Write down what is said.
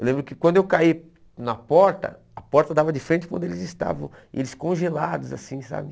Eu lembro que quando eu caí na porta, a porta dava de frente quando eles estavam, eles congelados assim, sabe?